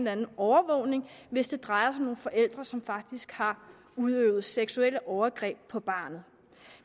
anden overvågning hvis det drejer sig om nogle forældre som faktisk har udøvet seksuelle overgreb på barnet